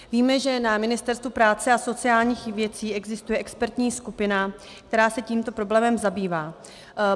Víme, že na Ministerstvu práce a sociálních věcí existuje expertní skupina, která se tímto problémem zabývá.